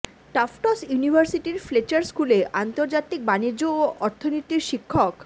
Tufts ইউনিভার্সিটির Fletcher স্কুলে আন্তর্জাতিক বাণিজ্য ও অর্থনীতির শিক্ষক